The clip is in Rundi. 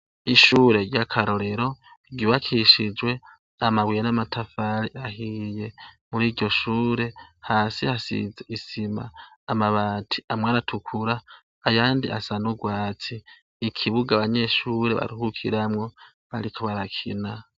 Ishure rya karorero ry'ubakishijwe amabuye namatafari ahiye , muriryoshure hasi hasize isima , amabati aratukura ayandi asa nurwatsi. Ikibuga abanyeshure baruhukiramwo bariko barakina.